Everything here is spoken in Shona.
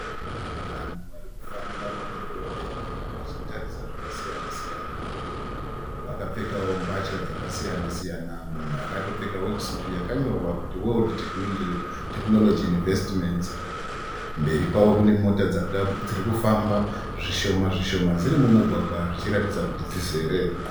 Vanhu vari kufamba mudhorobheni vachitarisa zvakasiyana siyana. Vakapfekawo mbatya dzakasiyana siyana mumwe akatopfeka wekisutu yakanyorwa kunzi World Technology Investments. Mberi kwavo kune mota dziri kufamba zvishoma zvishoma dziri mumugwagwa zvichiratidza kuti dzizere.